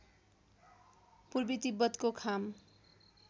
पूर्वी तिब्बतको खाम